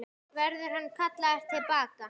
Verður hann kallaður til baka?